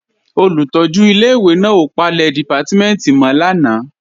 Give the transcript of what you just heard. Olùtọ́jú ilé-ìwé náà ò palẹ̀ dìpátímẹ̀ntì mọ́ lánàá